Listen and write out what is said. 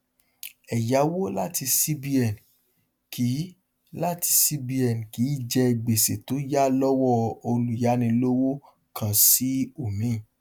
ẹyàwo lati cbn kì lati cbn kì í jẹ gbèsè tó yà lọwọ olùyànilọwọ kan sí omíì